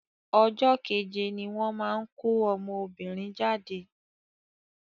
Ọjọ́ kéje ní wọ́n máa ń kọ́ ọmọbìnrin jáde.